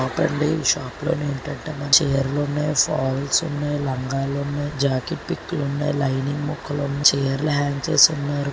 Shop లో ఏంటంటే మంచిగా అన్నున్నాయి. ఫాల్స్ ఉన్నాయి. లంగాలు ఉన్నాయి. జాకెట్ పిక్ ఉన్నాయి. లైనింగ్ ముక్కలు ఉన్నాయి. చీరలు హాంగ్ చేసి వున్నారు.